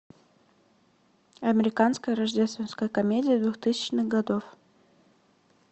американская рождественская комедия двухтысячных годов